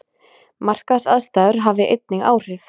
Markaðsaðstæður hafi einnig áhrif